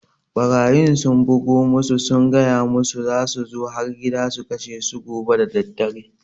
Ɓarayin sun bugo musu sun gaya musu za su zo har gida su kashe su gobe daddare